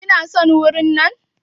Kina son wurin nan?